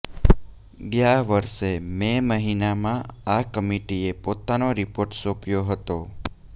ગયા વર્ષે મે મહિનામાં આ કમિટીએ પોતાનો રિપોર્ટ સોંપ્યો હતો